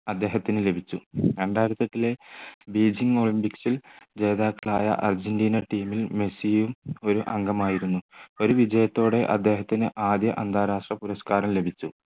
അദ്ദേഹത്തിന് ലഭിച്ചു രണ്ടായിരത്തി ഏട്ടിലെ ബീജിങ് olympics ൽ ജേതാക്കളായ അർജൻറീന team ൽ മെസ്സിയും ഒരു അംഗമായിരുന്നു. ഒരു വിജയത്തോടെ അദ്ദേഹത്തിന് ആദ്യ അന്താരാഷ്ട്ര പുരസ്കാരം ലഭിച്ചു